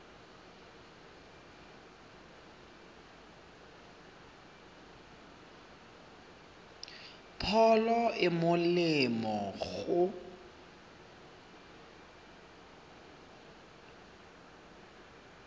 pholo e e molemo go